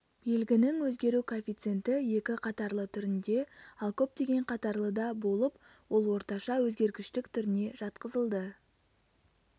белгінің өзгеру коэффициенті екі қатарлы түрінде ал көп қатарлыда болып ол орташа өзгергіштік түріне жатқызылды